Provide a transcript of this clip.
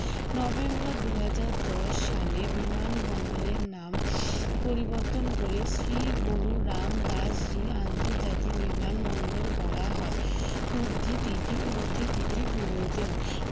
November দুই হাজার দশ সালে বিমানবন্দরের নাম পরিবর্তন করে শ্রী গুরু রামদাস জি আন্তর্জাতিক বিমানবন্দর করা হয় উদ্ধৃতিটি উদ্ধৃতিটি প্রয়োজন